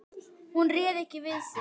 Hún réði ekki við sig.